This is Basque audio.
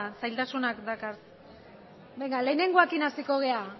zailtasunak dakar lehenengoarekin hasiko gera